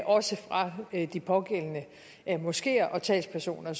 også fra de pågældende moskeer og talspersoner